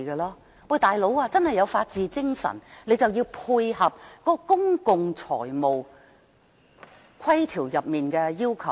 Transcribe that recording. "老兄"，若真的有法治精神，就要配合《公共財政條例》的要求。